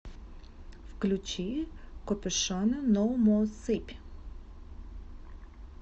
включи копюшона ноу мо сыпь